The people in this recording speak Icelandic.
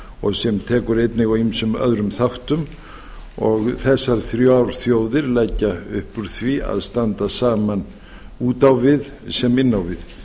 og sem tekur einnig á ýmsum öðrum þáttum og þessar þrjár þjóðir leggja upp úr því að standa saman út á við sem inn á við